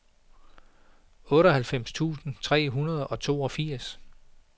otteoghalvfems tusind tre hundrede og toogfirs